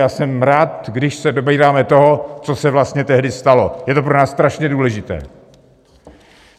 Já jsem rád, když se dobíráme toho, co se vlastně tehdy stalo, je to pro nás strašně důležité.